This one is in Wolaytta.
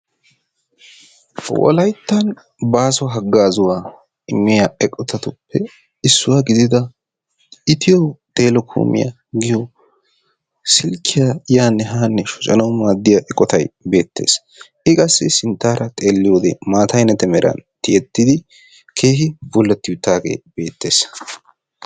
wolaytta baaso hagaazzuwa immiya eqqotatuppe issuwa gidida Itiyo Telekoomiyaa giyo silkkiya yaanne haanne shoccanaw maaddiya eqqotay beettees. i qassi sinttaara xeelliyoode maata ayinette meran tiyyettidi keehi bullati uttaagee beettees.